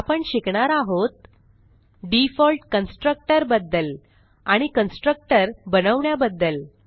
आपण शिकणार आहोत डिफॉल्ट कन्स्ट्रक्टर बद्दल आणि कन्स्ट्रक्टर बनवण्या बद्दल